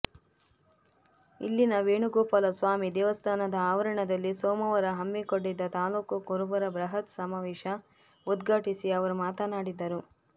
ಇಲ್ಲಿನ ವೇಣುಗೋಪಾಲಸ್ವಾಮಿ ದೇವಸ್ಥಾನದ ಆವರಣದಲ್ಲಿ ಸೋಮವಾರ ಹಮ್ಮಿಕೊಂಡಿದ್ದ ತಾಲ್ಲೂಕು ಕುರುಬರ ಬೃಹತ್ ಸಮಾವೇಶ ಉದ್ಘಾಟಿಸಿ ಅವರು ಮಾತನಾಡಿದರು